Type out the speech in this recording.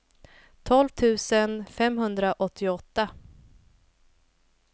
tolv tusen femhundraåttioåtta